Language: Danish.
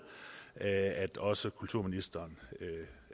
at også kulturministeren